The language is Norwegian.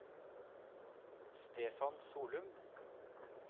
Stefan Solum